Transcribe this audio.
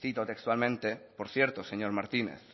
cito textualmente por cierto señor martínez